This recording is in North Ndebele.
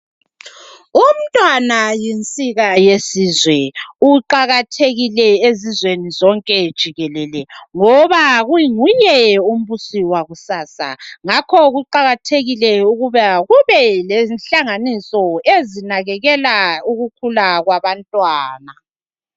Umntwana yinsika yesizwe . Uqakathekile ezizweni zonke jikelele ngoba kunguye umbusi wakusasa . Ngakho kuqakathekile ukuba kube lenhlanganiso ezinakekela ukukhula kwabantwana.